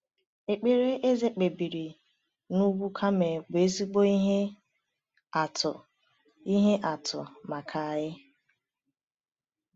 Ekpere Eze kpebiri n’ugwu Kamel bụ ezigbo ihe atụ ihe atụ maka anyị.